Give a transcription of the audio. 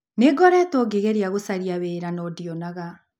Nĩ ngoretwo ngĩgeria gũcaria wĩra no ndionaga.